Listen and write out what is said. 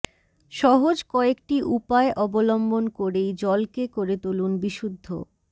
সহজ কয়েকটি উপায় অবলম্বন করেই জলকে করে তুলুন বিশুদ্ধ